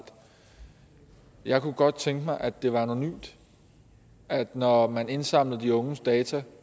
jeg kunne godt tænke mig at det var anonymt at når man indsamlede de unges data